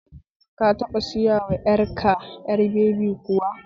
Ka taɓa sayawa ƴar ka ƴar babi kuwa?